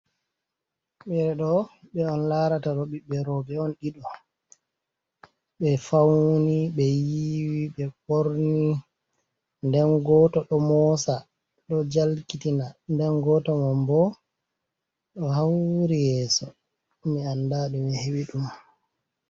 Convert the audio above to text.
Ɓeeɗo ɓe on laarata ɗo, ɓiɓɓe rooɓe on ɗiɗo, ɓe fawni, ɓe yiiwi, ɓe ɓorni. Nden gooto ɗo moosa ɗo jalkitina, nden gooto man boo, ɗo hawri yeeso. Mi annda ɗumie heɓi ɗum.